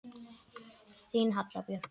Þín Halla Björk.